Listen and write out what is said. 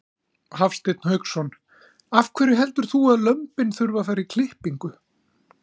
Hafsteinn Hauksson: Af hverju heldur þú að lömbin þurfi að fara í klippingu?